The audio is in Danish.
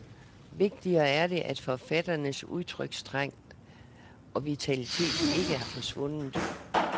Vigtigere er det, at forfatternes udtrykstrang og vitalitet ikke er forsvundet.